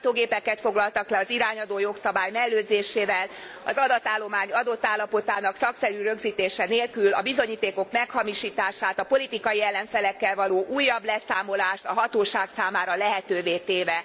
Számítógépeket foglaltak le az irányadó jogszabály mellőzésével, az adatállomány adott állapotának szakszerű rögzítése nélkül, a bizonyítékok meghamisítását, a politikai ellenfelekkel való újabb leszámolást a hatóság számára lehetővé téve.